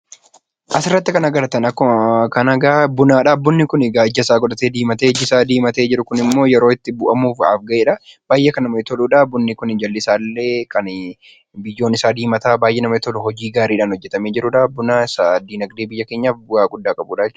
As irratti kan agartaan akkuma kana Buunaadha. Buunii kun ijaa isa godhatee Buunii kun immoo yeroo itti bu'aamudhaaf gaheedha. Baay'ee kan namatti toluudha. Buunii kun illee jalii isa biyyoon isaa diima kan namatti toluu hojiin isaa illee hojii gaariidhan hojeetame jiruudha. Buunaa isaa dinagdee biyyaa keenyaaf bu'aa gidhaa qabudha jechuudha.